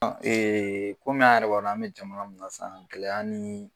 kɔmi a' yɛrɛ b'a dɔ an bɛ jamana min na san gɛlɛya nii